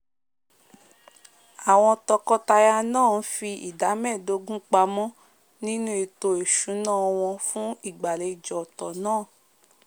àwon toko- taya náà n fi ìdá méèdógún pamó nínú ètò ìsúná won fùn ìgbàlejò ọ̀tò náà